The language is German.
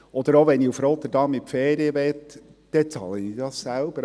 Auch wenn ich nach Rotterdam in die Ferien möchte, bezahle ich das selber.